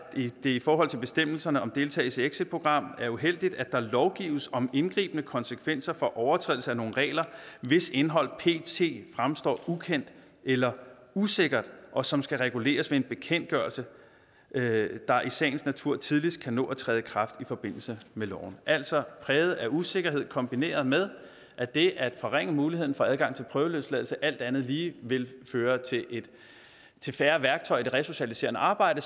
det i forhold til bestemmelserne om deltagelse i exitprogram er uheldigt at der lovgives om indgribende konsekvenser for overtrædelse af nogle regler hvis indhold pt fremstår ukendt eller usikkert og som skal reguleres ved en bekendtgørelse der i sagens natur tidligst kan nå at træde i kraft i forbindelse med loven altså præget af usikkerhed kombineret med at det at forringe muligheden for adgang til prøveløsladelse alt andet lige vil føre til til færre værktøjer i det resocialiserende arbejde